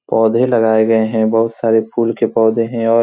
पौधे लगाये गए हैं बहुत सारे फूल के पौधे हैं और --